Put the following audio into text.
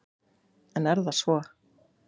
En er það svo.